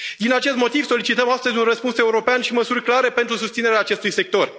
Din acest motiv, solicităm astăzi un răspuns european și măsuri clare pentru susținerea acestui sector.